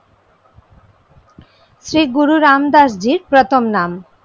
শ্রী গুরু রামদাস জীর প্রথম নাম।